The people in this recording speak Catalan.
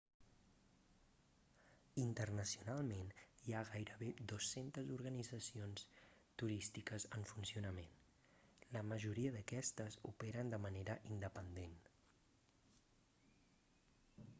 internacionalment hi ha gairebé 200 organitzacions turístiques en funcionament la majoria d'aquestes operen de manera independent